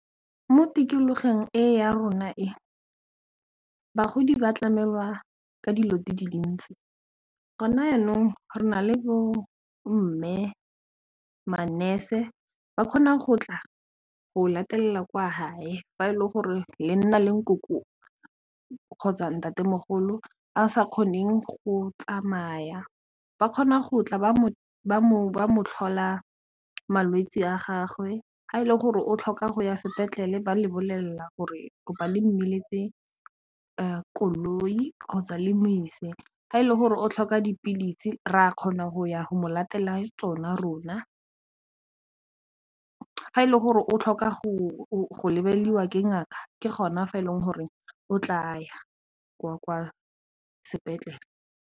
Mo tikologong e ya rona e bagodi ba tlamelwa ka dilo di le le ntsi go na yanong re na le bo mme, ma-nurse ba kgona go tla go latela kwa gae fa e le gore le nna le nkoko kgotsa ntatemogolo a sa kgoneng go tsamaya ba kgona go tla ba mo tlhola malwetsi a gagwe ga e le gore o tlhoka go ya sepetlele ba lebelela gore kopa le mmiletse koloi kgotsa le modise ga e le gore o tlhoka dipilisi re a kgona go go mo latela tsona rona fa e le gore o tlhoka go lebediwa ke ngaka ke gona fa e leng gore o tla kwa sepetlele.